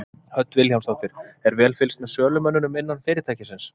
Hödd Vilhjálmsdóttir: Er vel fylgst með sölumönnunum innan fyrirtækisins?